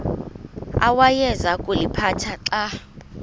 awayeza kuliphatha xa